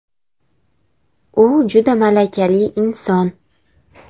U juda malakali inson.